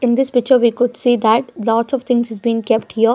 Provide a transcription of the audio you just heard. In this picture we could see that lots of things is been kept here.